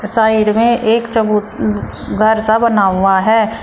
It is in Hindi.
साइड में एक घर सा बना हुआ है।